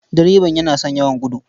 Direban yana son yawan gudu.